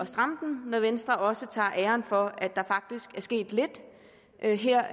stramme den når venstre også tager æren for at der faktisk er sket lidt her